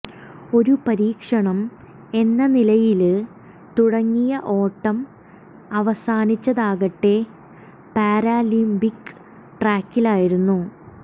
ഒരു പരീക്ഷണം എന്ന നിലയില് തുടങ്ങിയ ഓട്ടം അവസാനിച്ചതാകട്ടെ പാരാലിമ്പിക് ട്രാക്കിലായിരുന്നു